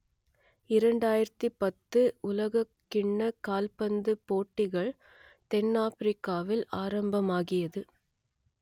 இரண்டாயிரத்து பத்து உலகக்கிண்ணக் கால்பந்துப் போட்டிகள் தென்னாப்பிரிக்காவில் ஆரம்பமாகியது